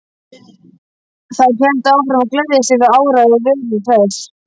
Þær héldu áfram að gleðjast yfir áræði Veru Hress.